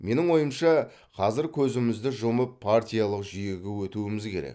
менің ойымша қазір көзімізді жұмып партиялық жүйеге өтуіміз керек